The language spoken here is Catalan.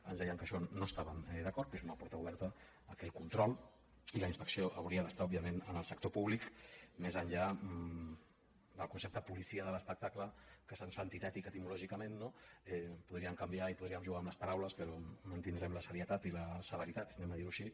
ens deien que amb això no hi estaven d’acord que és una porta oberta que el control i la inspecció haurien d’estar òbviament en el sector públic més enllà del concepte policia de l’espectacle que se’ns fa antitètic etimològicament no podríem canviar i podríem jugar amb les paraules però mantindrem la seriositat i la severitat diguem ho així